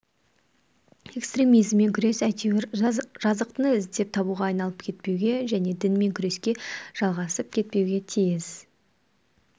экстремизммен күрес әйтеуір жазықтыны іздеп табуға айналып кетпеуге және дінмен күреске жалғасып кетпеуге тиіс